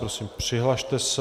Prosím, přihlaste se.